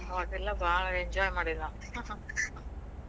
ಅವಾಗೆಲ್ಲಾ ಭಾಳ್ enjoy ಮಾಡೇವಿ ನಾವ್